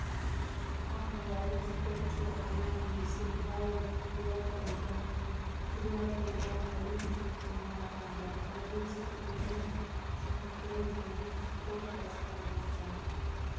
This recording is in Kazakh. ақмолалық спортшы аян бейсенбаев биатл және триатлдан әлем чемпионы атанды облыстық дене шынықтыру және спорт басқармасы